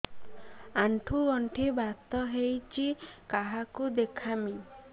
ଆଣ୍ଠୁ ଗଣ୍ଠି ବାତ ହେଇଚି କାହାକୁ ଦେଖାମି